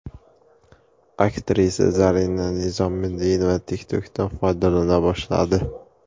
Aktrisa Zarina Nizomiddinova TikTok’dan foydalana boshladi.